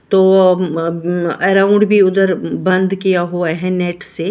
तो uh um um around भी उधर उम बंद किया हुआ है नेट से।